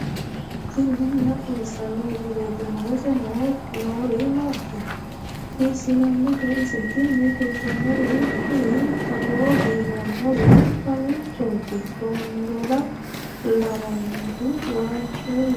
tini maa xawissanno misileeti ? mulese noori maati ? hiissinannite ise ? tini kultannori kuri togo biifannowi mamiichooti tombola lawannori waajjuullu maati